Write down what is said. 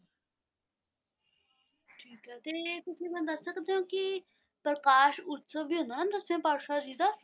ਤੇ ਤੁਸੀਂ ਮੈਨੂੰ ਦੱਸ ਸਕਦੇ ਹੋ ਕਿ ਪ੍ਰਕਾਸ਼ ਉਤਸਵ ਵੀ ਤਾਂ ਹੁੰਦਾ ਹੈ ਦਸਵੇਂ ਪਾਤਸ਼ਾਹ ਜੀ ਦਾ,